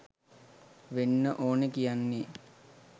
වෙන්න ඕනි කියන්නේ.